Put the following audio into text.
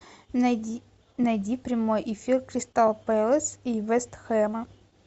найди прямой эфир кристал пэлас и вест хэма